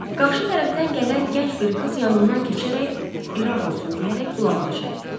Qarşı tərəfdən gələn gənc bir qız yanımdan keçərək İraq olsun deyərək qulağını çəkdi.